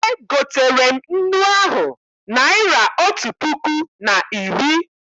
E gotere m nnu ahụ naịra otu puku na iri.